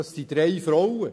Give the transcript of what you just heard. Das sind drei Frauen.